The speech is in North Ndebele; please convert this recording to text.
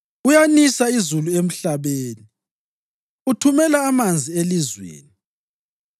Uyanisa izulu emhlabeni; uthumela amanzi elizweni.